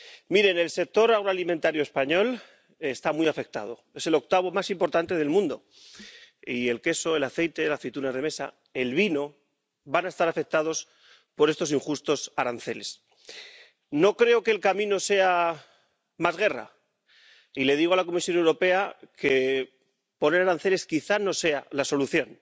Miren, el sector agroalimentario español está muy afectado. Es el octavo más importante del mundo, y el queso, el aceite y la aceituna de mesa, y el vino, van a estar afectados por estos injustos aranceles. No creo que el camino sea más guerra, y le digo a la Comisión Europea que poner aranceles quizá no sea la solución.